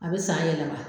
A bɛ san yɛlɛma